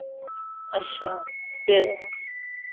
ਅਸ਼ਾ ਫੇਰ